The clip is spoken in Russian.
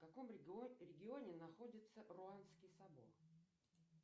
в каком регионе находится руанский собор